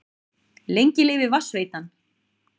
Lengi lifi Vatnsveitan!